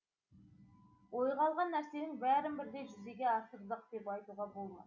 ойға алған нәрсенің бәрін бірдей жүзеге асырдық деп айтуға болмас